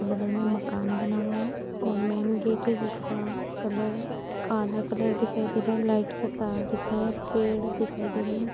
बगल में मकान बना हुआ है और मेन गेट है जिसका कलर काला कलर दिखाई दे रहा है। लाइट के तार दिख रहे हैं। पेड़ दिखाई दे रहे हैं।